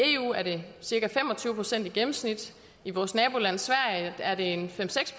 i eu er det cirka fem og tyve procent i gennemsnit i vores naboland sverige er det fem seks